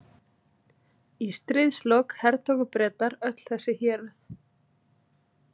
Í stríðslok hertóku Bretar öll þessi héruð.